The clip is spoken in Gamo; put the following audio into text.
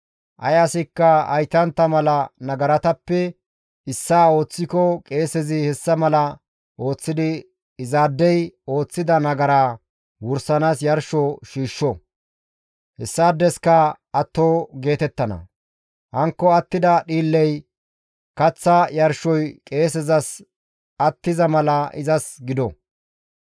Ay asikka haytantta mala nagaratappe issaa ooththiko qeesezi hessa mala ooththidi izaadey ooththida nagaraa wursanaas yarsho shiishsho; hessaadeska atto geetettana; hankko attida dhiilley kaththa yarshoy qeesezas attiza mala izas gido.»